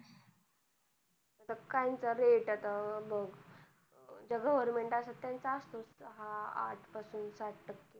बघ ज्या government असतात त्यांच सहा आठ पासून सात टक्के